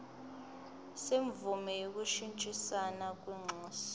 semvume yokushintshisana kwinxusa